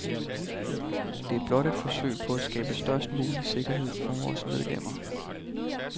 Det er blot et forsøg på at skabe størst mulig sikkerhed for vores medlemmer.